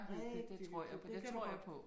Rigtig hyggeligt det kan du godt